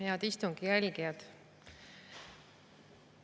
Head istungi jälgijad!